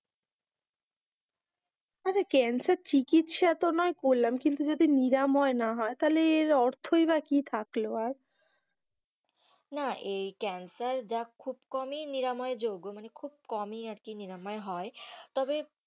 cancer চিকিৎসা না তো নয় করলাম, কিন্তু যদি নিরাময় যদি না হয় তালে এর অর্থই বাঃ কি থাকলো আর না এই ক্যান্সার খুব কম ই নিরাময় যোগ্য মানে খুব কম ই আর কি নিরাময় হয় তবে,